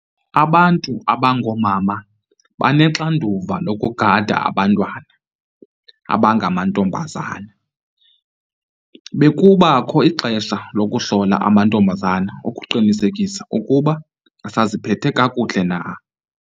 Abantu abangoomama bebenoxanduva lokugada abantwana abangamantombazana. Bekubakho ixesha lokuhlola amantombazana ukuqinisekisa ukuba asaziphethe kakuhle na.